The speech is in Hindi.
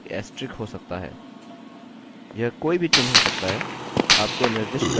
यह कोई भी चिन्ह हो सकता है आपको निर्दिष्ट करने की आवश्यकता है कि क्या चीज़ स्ट्रिंग को ब्रेक कर रही है